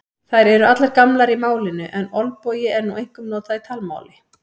Þær eru allar gamlar í málinu en olbogi er nú einkum notað í talmáli.